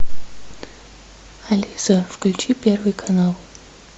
алиса включи первый канал